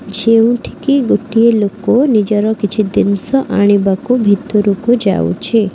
ଯେଉଁଠିକି ଗୋଟିଏ ଲୋକ ନିଜର କିଛି ଜିନିଷ ଆଣିବାକୁ ଭିତରକୁ ଯାଉଛି।